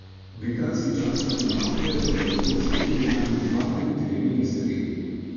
Britanski časniki navajajo, da bi lahko odstopili najmanj dva ali trije ministri.